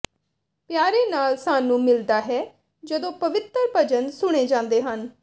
ਪਿਆਰੇ ਨਾਲ ਸਾਨੂੰ ਮਿਲਦਾ ਹੈ ਜਦੋਂ ਪਵਿੱਤਰ ਭਜਨ ਸੁਣੇ ਜਾਂਦੇ ਹਨ